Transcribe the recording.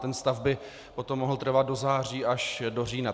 Ten stav by potom mohl trvat do září až do října.